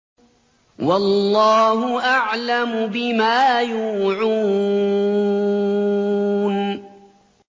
وَاللَّهُ أَعْلَمُ بِمَا يُوعُونَ